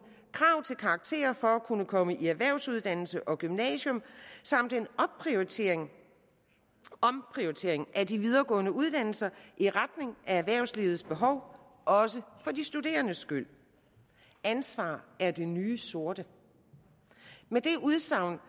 krav til karakterer for at kunne komme i erhvervsuddannelse og på gymnasium samt en omprioritering omprioritering af de videregående uddannelser i retning af erhvervslivets behov også for de studerendes skyld ansvar er det nye sorte med det udsagn